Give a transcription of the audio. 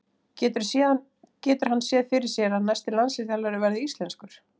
Getur hann séð fyrir sér að næsti landsliðsþjálfari verði íslenskur?